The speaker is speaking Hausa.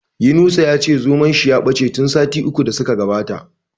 Yunusa ya ce zomon shi ya bace tun sati uku da su ka gabata.